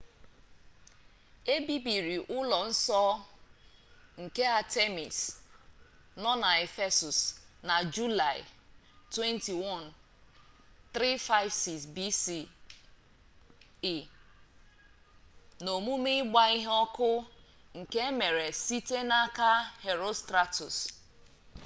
e bibiri ụlọ nsọ nke artemis nọ na ephesus na julaị 21 356 bce n'omume ịgba ihe ọkụ nke emere site n'aka herostratus